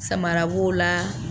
Samara b'o la.